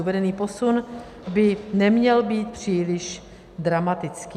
Uvedený posun by neměl být příliš dramatický.